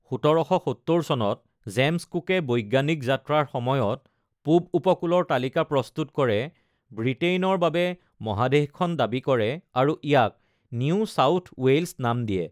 ১৭৭০ চনত জেমছ কুকে বৈজ্ঞানিক যাত্ৰাৰ সময়ত পূব উপকূলৰ তালিকা প্ৰস্তুত কৰে, ব্ৰিটেইনৰ বাবে মহাদেশখন দাবী কৰে আৰু ইয়াক নিউ চাউথ ৱেইলছ নাম দিয়ে।